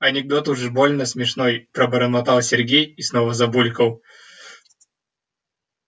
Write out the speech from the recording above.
анекдот уж больно смешной пробормотал сергей и снова забулькал